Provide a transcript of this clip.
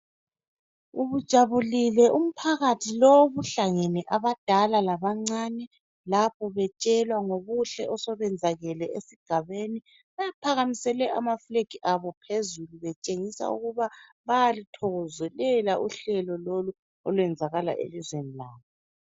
Ubujabulile umphakathi lo obuhlangene abadala labancane lapho betshelwa ngobuhle osobenzakele esigabeni. Baphakamisele ama flegi abo phezulu betshengisela ukuba bayaluthokozelela uhlelo lolu olwenzakala elizweni labo.